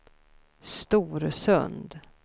Storsund